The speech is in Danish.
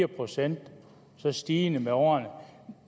procent og stigende med årene